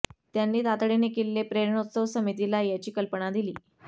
त्यांनी तातडीने किल्ले प्रेरणोत्सव समितीला याची कल्पना दिली